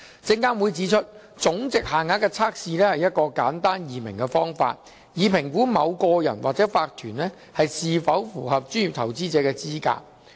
證監會指出，總值限額的測試是一個簡單易明的方法，以評估某個人或法團是否符合專業投資者的資格。